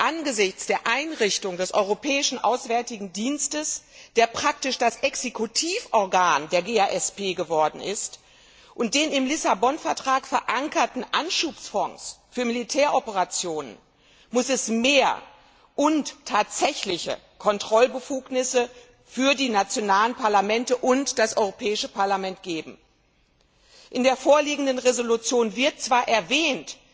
Angesichts der Einrichtung des Europäischen Auswärtigen Dienstes, der praktisch das Exekutivorgan der GASP geworden ist, und des im Lissabon Vertrag verankerten Anschubfonds für Militäroperationen muss es mehr und tatsächliche Kontrollbefugnisse für die nationalen Parlamente und das Europäische Parlament geben. In der vorliegenden Entschließung wird zwar erwähnt,